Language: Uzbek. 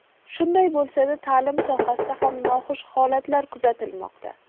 Shunday bo‘lsa-da, ta’lim sohasida ham noxush holatlar kuzatilmoqda.